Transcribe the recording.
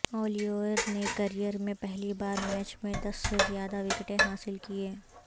Olivier نے career میں پہلی بار میچ میں دس سے زیادہ وکٹیں حاصل کیں